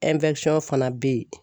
fana bɛ yen.